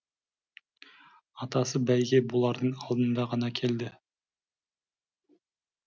атасы бәйге болардың алдында ғана келді